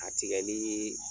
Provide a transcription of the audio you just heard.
A tigɛli